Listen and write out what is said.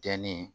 Jɛni